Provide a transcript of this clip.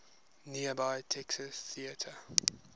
nearby texas theater